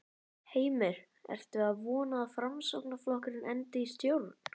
Heimir: Ertu að vona að Framsóknarflokkurinn endi í stjórn?